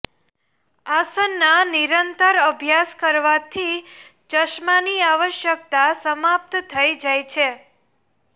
આસનના નિરંતર અભ્યાસ કરવાથી ચશ્માની આવશ્યકતા સમાપ્ત થઈ જાય છે